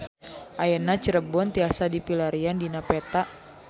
Ayeuna Cirebon tiasa dipilarian dina peta